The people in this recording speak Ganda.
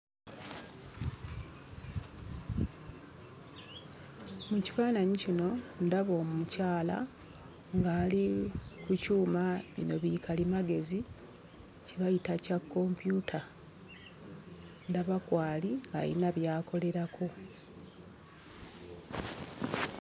Mu kifaananyi kino ndaba omukyala ng'ali ku kyuma, bino bikalimagezi kye bayita ekya kompyuta. Ndaba kw'ali alina by'akolerako.